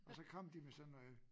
Og så kom de med sådan noget